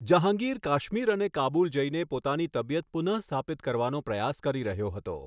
જહાંગીર કાશ્મીર અને કાબુલ જઈને પોતાની તબિયત પુનઃસ્થાપિત કરવાનો પ્રયાસ કરી રહ્યો હતો.